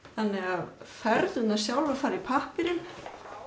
þannig að fernurnar sjálfar fara í pappírinn